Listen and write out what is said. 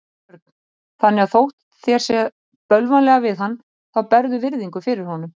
Björn: Þannig að þótt þér sé bölvanlega við hann þá berðu virðingu fyrir honum?